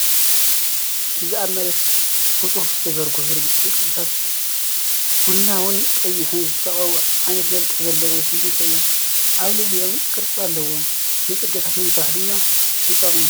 እዚ ኣብ መሬት ብጽፉፍ ዝተዘርግሑ ርብዒ ቅርጽታት፡ ቡናውን ቀይሕን ዝተቐብኡዓበይቲ መልክዕ ዘለዎም ሲሚንቶ እዮም።። ኣብ ልዕሊኦም ቅርጺ ኣለዎም፣ ንጽርግያታት ንምስራሕ ድማ ይጥቀሙ።